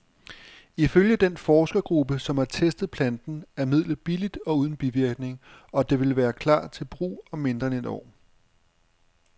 Ifølge den forskergruppe, som har testet planten, er midlet billigt og uden bivirkninger, og det vil klar til brug om mindre end et år.